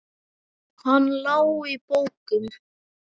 Hann lá í bókum.